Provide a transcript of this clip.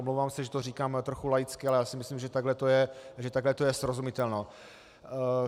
Omlouvám se, že to říkám trochu laicky, ale já si myslím, že takto je to srozumitelné.